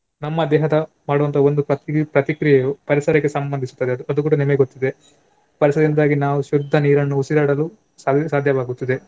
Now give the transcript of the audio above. ನಮ್ಮ ದೇಹದ ಮಾಡುವಂತಹ ಒಂದು ಪತ್ರಿ~ ಪ್ರತಿಕ್ರಿಯೆಯು ಪರಿಸರಕ್ಕೆ ಸಂಬಂಧಿಸುತ್ತದೆ ಅದು ಅದು ಕೂಡ ನಿಮಗೆ ಗೊತ್ತಿದೆ. ಪರಿಸರದಿಂದಾಗಿ ನಾವು ಶುದ್ದ ನೀರನ್ನು ಉಸಿರಾಡಲು ಸಾ~ ಸಾಧ್ಯವಾಗುತ್ತದೆ.